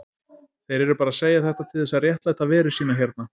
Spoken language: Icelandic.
Þeir eru bara að segja þetta til þess að réttlæta veru sína hérna.